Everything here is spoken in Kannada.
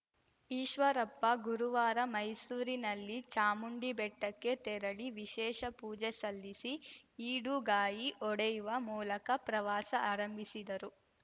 ಈಶ್ವರಪ್ಪ ಗುರುವಾರ ಮೈಸೂರಿನಲ್ಲಿ ಚಾಮುಂಡಿಬೆಟ್ಟಕ್ಕೆ ತೆರಳಿ ವಿಶೇಷ ಪೂಜೆ ಸಲ್ಲಿಸಿ ಈಡುಗಾಯಿ ಒಡೆಯುವ ಮೂಲಕ ಪ್ರವಾಸ ಆರಂಭಿಸಿದರು